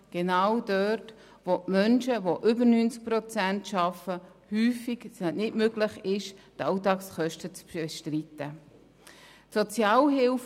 in diesem Bereich befinden sich Menschen, die mehr als zu 90 Prozent arbeiten und ihre Allagskosten nicht mit ihrem Lohn bestreiten können.